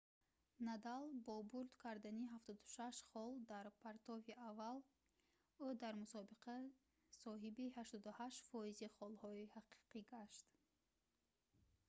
надал бо бурд кардани 76 хол дар партофти аввал ӯ дар мусобиқа соҳиби 88%‑и холҳои ҳақиқӣ гашт